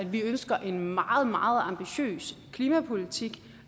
vi ønsker en meget meget ambitiøs klimapolitik